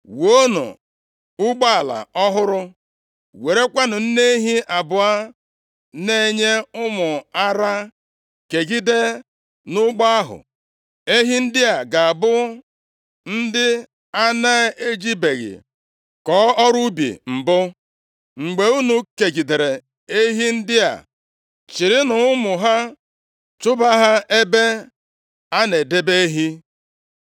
“Wuonụ ụgbọala ọhụrụ, werekwanụ nne ehi abụọ na-enye ụmụ ara kegide nʼụgbọ ahụ. Ehi ndị a ga-abụ ndị a na-ejibeghị kọọ ọrụ ubi mbụ. Mgbe unu kegidere ehi ndị a, chịrịnụ ụmụ ha chụba ha nʼebe a na-edebe ehi.